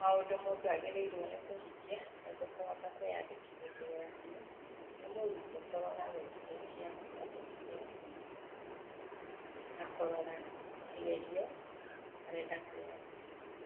Maũndũ mũndũ agĩrĩirwo nĩ kũhingia nĩguo kũhota kwĩyandĩkithia kĩgeranio, nĩ mũrutwo kũrora website ya kwĩyandĩkithia ya KNEC, na kũrora kĩgerio arenda kwĩyandĩkithia.